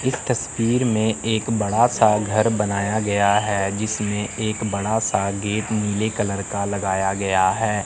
इस तस्वीर में एक बड़ा सा घर बनाया गया है जिसमें एक बड़ा सा गेट नीले कलर का लगाया गया है।